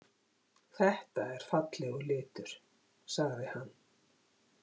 Þetta er fallegur litur, sagði hann.